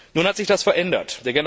Nun hat sich das verändert.